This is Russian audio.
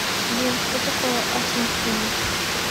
сбер что такое асунсьон